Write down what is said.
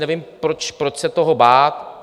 Nevím, proč se toho bát.